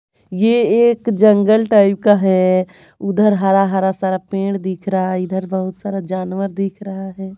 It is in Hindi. यह एक जंगल टाइप का है उधर हरा हरा सारा पेड़ दिख रहा है इधर बहुत सारा जानवर दिख रहा है।